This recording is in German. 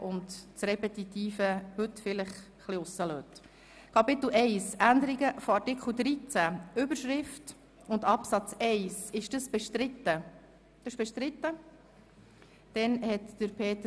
Ich wäre froh, wenn Sie nur Dinge erwähnen würden, die wirklich neu sind, und auf alles, das sich wiederholt, verzichten.